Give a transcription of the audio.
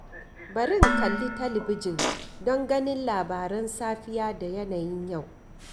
Bari in kalli talabijin don ganin labaran safiya da yanayin yau.